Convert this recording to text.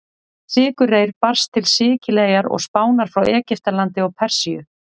Sykurreyr barst til Sikileyjar og Spánar frá Egyptalandi og Persíu.